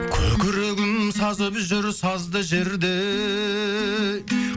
көкірегім сазып жүр сазды жердей